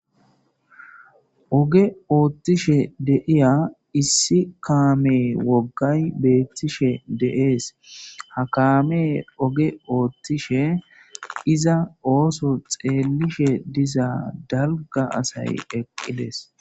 Oge ooththishe deiya issi kaame woggay beettishe deees ha kaame oge ootthishe iza ooso xeellishe diza dalga asay eqqides.